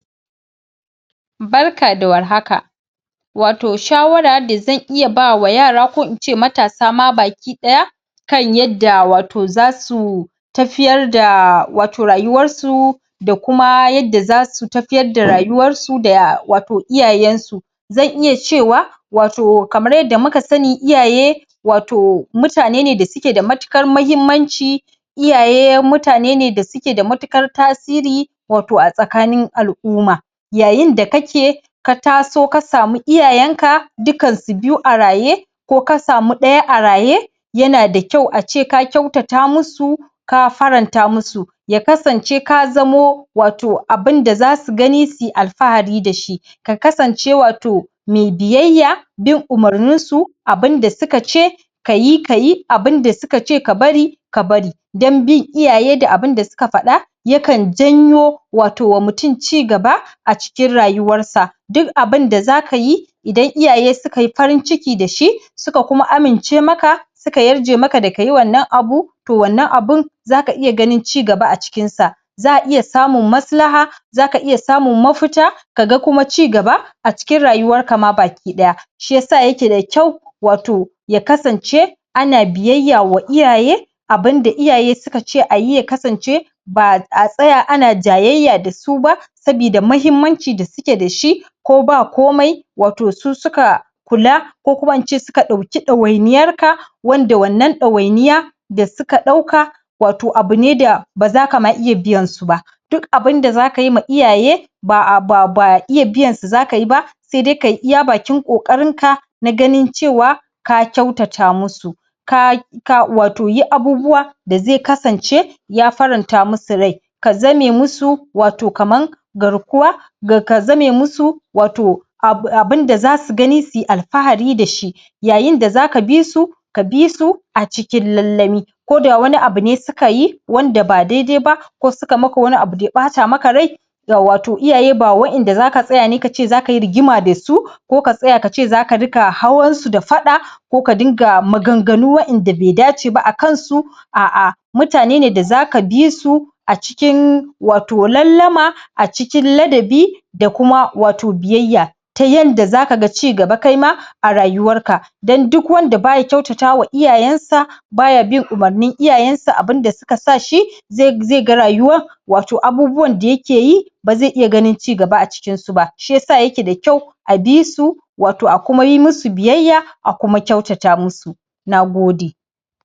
Barka da warhaka, wato shawara da zan iya bawa yara, ko in ce matasa ma baki ɗaya kan yadda wato zasu tafiyar da wato rayuwar su da kuma yadda zasu tafiyar da rayuwar su da wato iyayen su zan iya cewa, wato kamar yadda muka sani iyaye wato mutane ne da suke da matuƙar mahimmanci iyaye mutane ne da suke da matuƙar tasiri wato a tsakanin al'umma yayin da kake, ka taso ka samu iyayen ka dukan su biyu a raye ko ka samu ɗaya a raye, yana da kyau a ce ka kyautata musu, ka faranta musu, ya kasance ka zamo wato abin da zasu gani su yi alfahari da shi, ka kasance wato me biyayya bin umurnin su abinda suka ce ka yi, ka yi, abinda suka ce ka bari, ka bari, dan bin iyaye da abinda suka faɗa ya kan janyo wato wa mutun cigaba a cikin rayuwar sa duk abinda zaka yi idan iyaye suka yi farin ciki da shi, suka kuma amince maka suka yarje maka da kayi wannan abu, to wannan abun zaka iya ganin ci gaba a cikin sa za'a iya samun maslaha, zaka iya samun mafita, kaga kuma ci gaba a cikin rayuwar ka ma bakiɗaya shi yasa yake da kyau wato ya kasance ana biyayya wa iyaye abinda iyaye suka ce a yi ya kasance, ba'a tsaya ana jayayya da su ba sabida mahimmancin da suke da shi ko ba komai wato su suka kula ko kuma in ce su suka ɗauki ɗawainiyar ka, wanda wannan ɗawainiya da suka ɗauka, wato abu ne da ba zaka ma iya biyan su ba, duk abinda zaka yi ma iyaye ba iya biyan su zaka yi ba, sai dai kayi iya bakin ƙoƙarin ka na ganin cewa ka kyautata musu ka, ka yi wato abubuwa da zai kasance ya faranta musu rai, ka zame musu wato kaman garkuwa ka zame musu wato abinda zasu gani, su yi alfahar da shi yayin da zaka bi su, ka bi su a cikin lallami koda wani abu ne suka yi wanda ba dai-dai ba, ko suka maka wani abu daya ɓata maka rai ga wato iyaye ba waƴanda zaka tsaya ne kace zaka yi rigima da su, ko ka tsaya ka ce zaka riƙa hawan su da faɗa ko ka dinga maganganu waƴanda be dace ba a kan su, a'a mutane ne da zaka bi su a cikin wato lallama a cikin ladabi da kuma wato biyayya ta yanda zaka ga ci gaba kai ma a rayuwar ka dan duk wanda baya kyautata wa iyayen sa baya bin umurnin iyayen sa abinda suka sa shi, zai ga rayuwa, wato abubuwan da yake yi, ba zai iya ganin ci gaba a cikin su ba, shi yasa yake da kyau a bi su wato a kuma yi musu biyayya, a kuma kyautata musu na gode.